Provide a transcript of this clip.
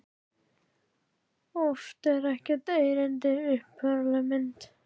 Oft er ekkert erindi í upphaflegri mynd.